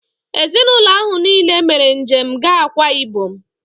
Ezinaụlọ ahụ niile mere njem gaa Akwa ịbọm